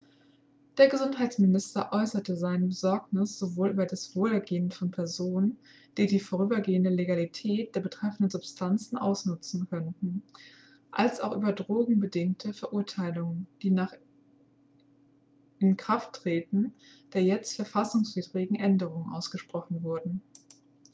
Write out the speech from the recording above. der gesundheitsminister äußerte seine besorgnis sowohl über das wohlergehen von personen die die vorübergehende legalität der betreffenden substanzen ausnutzen könnten als auch über drogenbedingte verurteilungen die nach inkrafttreten der jetzt verfassungswidrigen änderungen ausgesprochen würden